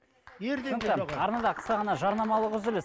ерден де арнада қысқа ғана жарнамалық үзіліс